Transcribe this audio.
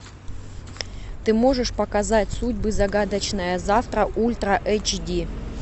ты можешь показать судьбы загадочное завтра ультра эйч ди